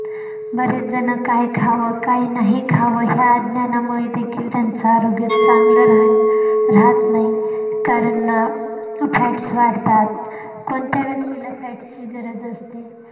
बरेच झण काय खाव काय नाही खाव या अज्ञानामुळे देखील त्याच आरोग्य चांगलं राहू राहत नाही कारण fats वाढतात कोण्यात्या व्यक्तीला fats ची गरज असते.